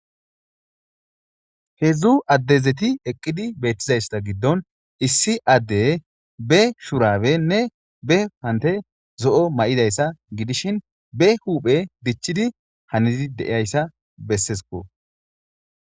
hedzdzu addezeti eqqidi beethtizaysa giddon issi adde be shurabenne be pante zo7o may7idayssa gidishin be huuphe dichidi hanizi deiyayssa bessesiko